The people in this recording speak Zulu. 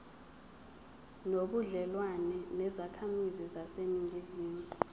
nobudlelwane nezakhamizi zaseningizimu